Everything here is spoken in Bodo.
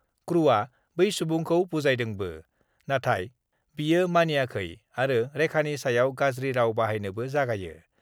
क्रुआ बै सुबुंखौ बुजायदोंबो, नाथाय बियो मानियाखै आरो रेखानि सायाव गाज्रि राव बाहायनोबो जागायो।